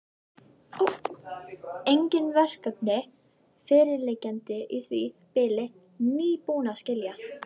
Engin verkefni fyrirliggjandi í því bili, nýbúinn að skila.